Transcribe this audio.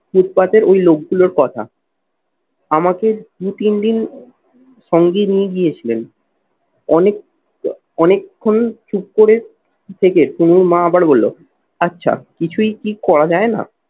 ফুটপাতের ওই লোকগুলোর কথা। আমাকে দু তিন দিন সঙ্গে নিয়ে গিয়েছিলেন অনেক অনেক্ষন চুপ করে থেকে তুনোর মা আবার বলল আচ্ছা কিছুই কি করা যায় না?